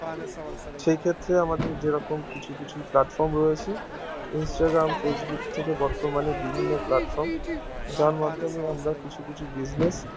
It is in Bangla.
সেই ক্ষেত্রে আমাদের যেরকম কিছু কিছু platform রয়েছে Instagram Facebook থেকে বর্তমানে বিভিন্ন platform যার মাধ্যমে মরা কিছু কিছু business